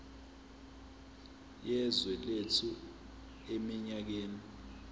yezwe lethu eminyakeni